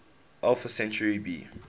alpha centauri b